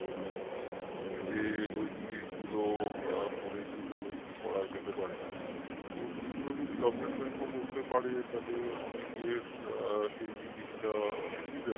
যে ওই জিনিসগুলো করে কিভাবে কি করা যেতে পারে তো এগুলো যদি government ও করতে পারে তালে অনেকের সেই জিনিসটা সুবিধা হবে